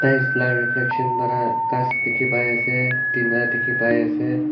laka reflection para khaas Delhi bai ase tina dekhi bai ase.